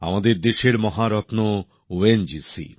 আমাদের দেশের মহারত্ন ও এন জি সি